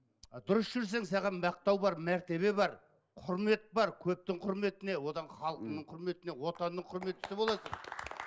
а дұрыс жүрсең саған мақтау бар мәртебе бар құрмет бар көптің құрметіне одан халқыңның құрметіне отанның құрметтісі боласың